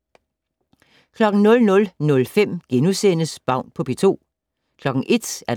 00:05: Baun på P2 * 01:00: